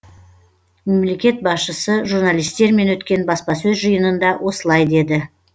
мемлекет басшысы журналистермен өткен баспасөз жиынында осылай деді